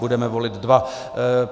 Budeme volit dva.